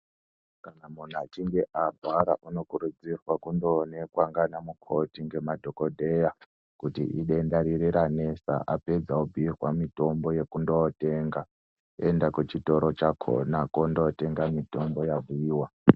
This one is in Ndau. Kana munhu achinge arwara unokurudzirwa kundoonekwa ndaanamukhoti, ndemadhokodheya kuti idenda riri ranetsa apedza apihwa mitombo yekundotenga, oenda kuchitoro chakhona kundotenga mitombo yabhiiwa.